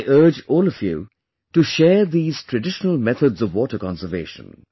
I urge all of you to share these traditional methods of water conservation